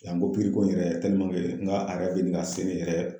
Yanko pikiriko in yɛrɛ n ga a yɛrɛ bɛ ɲini ka se ne yɛrɛ